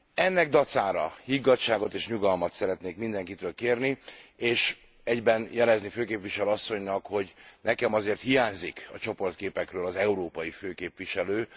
Ennek dacára higgadtságot és nyugalmat szeretnék mindenkitől kérni, és egyben jelezni főképviselő asszonynak, hogy nekem azért hiányzik a csoportképekről az európai főképviselő.